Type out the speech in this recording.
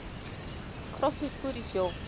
Krossfiskur í sjó.